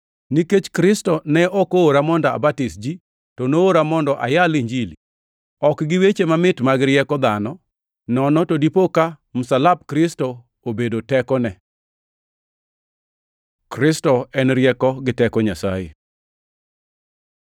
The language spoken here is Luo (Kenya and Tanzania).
Nikech Kristo ne ok oora mondo abatis ji, to noora mondo ayal Injili, ok gi weche mamit mag rieko dhano, nono to dipo ka msalap Kristo obedo tekone. Kristo en rieko gi teko Nyasaye